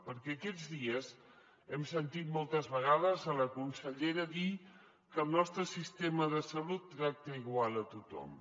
perquè aquests dies hem sentit moltes vegades la consellera dir que el nostre sistema de salut tracta igual a tothom